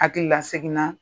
Hakili la seginna